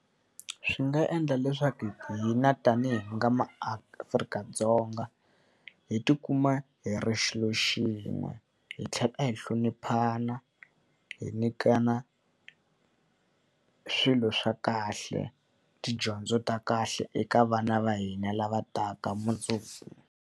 Swi nga endla leswaku hina tanihi hi nga maAfrika-Dzonga hi tikuma hi ri xilo xin'we. Hi tlhela hi hloniphana, hi nyikana swilo swa kahle, tidyondzo ta kahle eka vana va hina lava taka mundzuku.